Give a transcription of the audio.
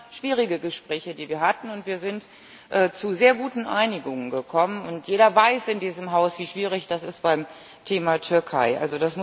Das waren schwierige Gespräche, die wir hatten, und wir sind zu sehr guten Einigungen gekommen und jeder in diesem Haus weiß, wie schwierig das beim Thema Türkei ist.